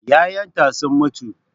Yayyenta sun mutu